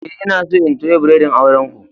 Eh, n'na so in toya biredin auren ku.